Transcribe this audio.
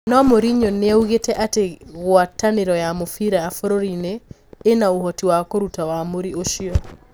No Mourinho niaugite ati guataniro ya mũbira buryuri-ini ina ũhoti wa kũruta wamũri ũcio.